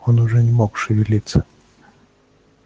он уже не мог шевелиться